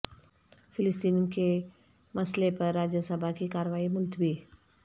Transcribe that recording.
فلسطین کے مسئلہ پر راجیہ سبھا کی کارروائی ملتوی